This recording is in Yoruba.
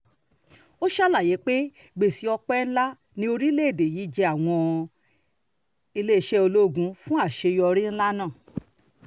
ó ṣàlàyé pé gbèsè um ọpẹ́ ńlá ní orílẹ̀-èdè yìí jẹ́ àwọn iléeṣẹ́ ológun fún àṣeyọrí um ńlá náà